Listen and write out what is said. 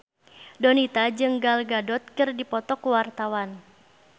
Donita jeung Gal Gadot keur dipoto ku wartawan